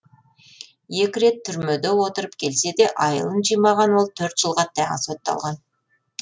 екі рет түрмеде отырып келсе де айылын жимаған ол төрт жылға ғана сотталған